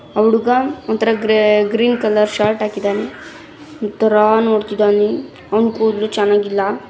ಆ ಹುಡುಗಾ ಒಂಥರಾ ಗ್ರೀನ್ ಕಲರ್ ಶರ್ಟ್ ಹಾಕಿದಾನೆ ಒಂಥರಾ ನೋಡ್ತಿದ್ದಾನೆ ಅನುಕೂಲ ಚೆನ್ನಾಗಿಲ್ಲ.